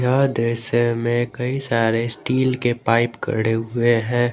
आधे से मे कई सारे स्टील के पाईप खडे हुए है।